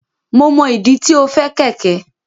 Mo mọ ìdí tí o fẹ kẹkẹ.